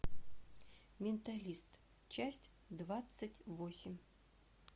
менталист часть двадцать восемь